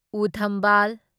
ꯎ ꯊꯝꯕꯥꯜ